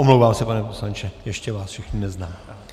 Omlouvám se, pane poslanče, ještě vás všechny neznám.